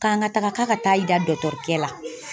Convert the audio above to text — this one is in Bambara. K'an ka taga k'a ka taa i da dɔkitɛrikɛ la.